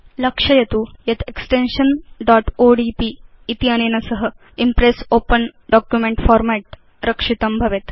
लक्षयतु यत् extension odp इत्यनेन सह इम्प्रेस् ओपेन डॉक्युमेंट फॉर्मेट् रक्षितं भवेत्